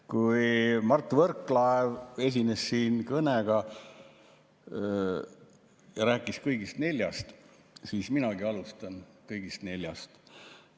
Kui Mart Võrklaev esines siin kõnega ja rääkis kõigist neljast, siis minagi alustan kõigist neljast.